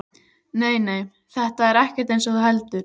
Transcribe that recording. Nei, nei, þetta er ekkert eins og þú heldur.